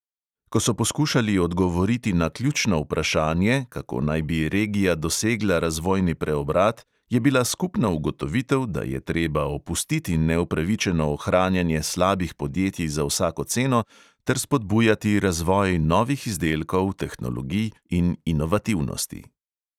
Ko so poskušali odgovoriti na ključno vprašanje, kako naj bi regija dosegla razvojni preobrat, je bila skupna ugotovitev, da je treba opustiti neupravičeno ohranjanje slabih podjetij za vsako ceno ter spodbujati razvoj novih izdelkov, tehnologij in inovativnosti.